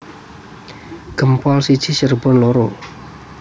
Gempol siji Cirebon loro